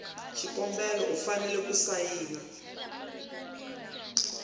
xikombelo u fanele ku sayina